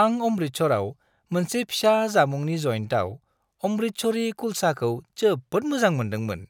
आं अमृतसराव मोनसे फिसा जामुंनि जइन्टआव अमृतसरी कुलचाखौ जोबोद मोजां मोनदोंमोन।